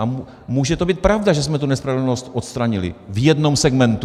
A může to být pravda, že jsme tu nespravedlnost odstranili - v jednom segmentu.